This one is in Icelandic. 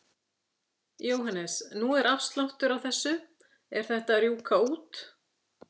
Jóhannes: Nú er afsláttur á þessu, er þetta að rjúka út?